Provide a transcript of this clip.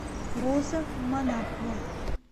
роза монахова